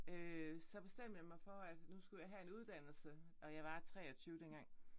Øh så bestemte jeg mig for at nu skulle jeg have en uddannelse og jeg var 23 dengang